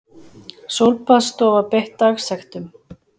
Sólbaðsstofa beitt dagsektum